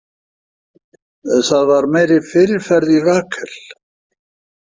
Það var meiri fyrirferð í Rakel.